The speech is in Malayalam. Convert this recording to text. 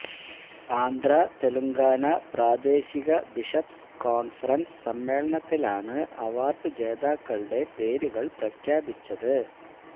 ആന്ധ്രാ തെലുങ്കാന പ്രാദേശിക ബിഷപ്സ് കോണ്ഫ്രന്സ് സമ്മേളനത്തിലാണ് അവാര്ഡ് ജേതാക്കളുടെ പേരുകള് പ്രഖ്യാപിച്ചത്